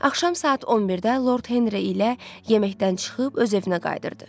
Axşam saat 11-də Lord Henri ilə yeməkdən çıxıb öz evinə qayıdırdı.